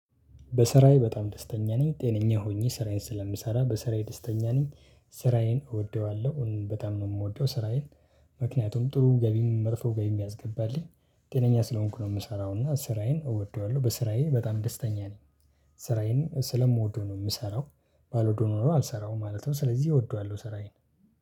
በስራዬ በጣም ደስተኛ ነኝ ጤነኛ ሆኜ ስራዬን ስለምሰራ በስራዬ ደስተኛ ነኝ። ስራዬን እወደዋለሁ በጣም ነው የምወደው ስራዬን ምክንያቱም ጥሩ ገቢም መጥፎ ገቢም ያስገባልኝ። ጤነኛ ስለሆንኩ ነው የምሰራው እና ስራዬን እወደዋለሁ በስራዬ በጣም ደስተኛ ነኝ። ስራዬን ስለምወደው ነው የምሰራው። ባልወደው ኖሮ አልሰራውም ማለት ነው። ስለዚህ እወደዋለሁ ስራዬን